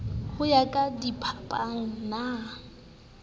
ho ya ka diphapang na